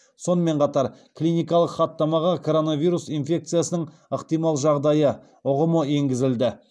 сонымен қатар клиникалық хаттамаға коронавирус инфекциясының ықтимал жағдайы ұғымы енгізілді